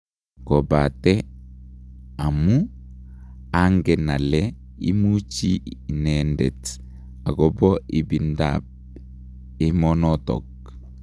Kobate amuu angen ale imuchi inendet agopo ibinda ap emonotok.